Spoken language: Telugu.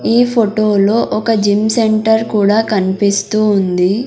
ఈ ఫొటో లో ఒక జిమ్ సెంటర్ కూడా కన్పిస్తూ ఉంది.